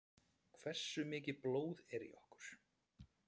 Hversu mikið blóð er í okkur?